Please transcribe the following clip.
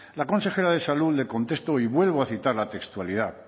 la consejera de salud le contesto y vuelvo a citar la textualidad